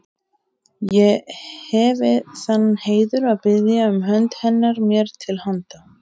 Ég hefi þann heiður að biðja um hönd hennar mér til handa.